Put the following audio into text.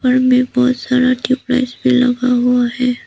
घर में बहोत सारा ट्यूबलाइट्स भी लगा हुआ है।